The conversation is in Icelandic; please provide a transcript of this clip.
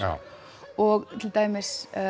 og til dæmis